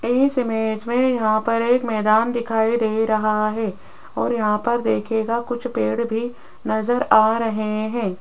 इस इमेज में यहां पर एक मैदान दिखाई दे रहा है और यहां पर देखियेगा कुछ पेड़ भी नजर आ रहे हैं।